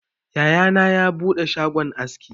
Yaya na ya buɗe shagon aski